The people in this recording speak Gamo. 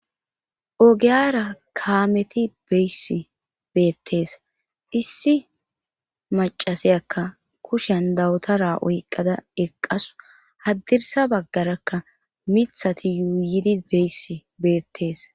ogiyaara kaameti beyshe beettes;issi maccasiyaaka kushiyan dawutara oyqqada eqqawus;haddirssa baggarakka miththathi yuuyidi deysse beettes.